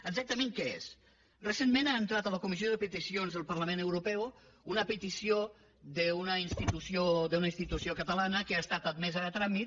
exactament què és recentment ha entrat a la comissió de peticions del parlament europeu una petició d’una institució catalana que ha estat admesa a tràmit